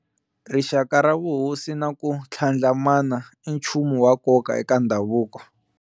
Rixaka ra vuhosi na ku tlhandlamana i nchumu wa nkoka eka ndhavuko wa.